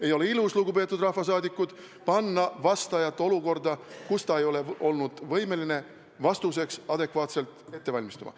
Ei ole ilus, lugupeetud rahvasaadikud, panna vastaja olukorda, kus ta ei ole olnud võimeline vastuseks adekvaatselt valmistuma.